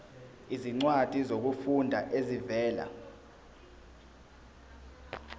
izincwadi zokufunda ezivela